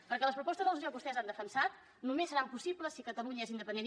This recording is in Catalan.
perquè les propostes de resolució que vostès han defensat només seran possibles si catalunya és independent